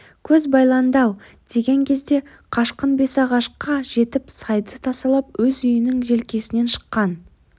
көз байланды-ау деген кезде қашқын бесағашқа жетіп сайды тасалап өз үйінің желкесінен шыққан